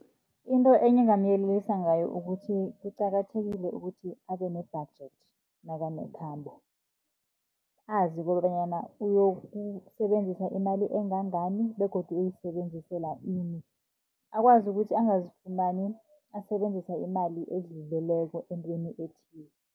Into enye engingamyelelisa ngayo, ukuthi kuqakathekile ukuthi abe ne-budget nakanekhambo. Azi kobanyana uyokusebenzisa imali engangani begodu uyoyisebenzisela ini. Akwazi ukuthi angazifumani asebenzisa imali edluleleko entweni ethile.